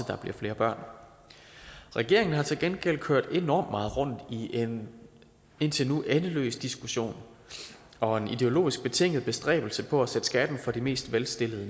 der bliver flere børn regeringen har til gengæld kørt enormt meget rundt i en indtil nu endeløs diskussion og en ideologisk betinget bestræbelse på at sætte skatten for de mest velstillede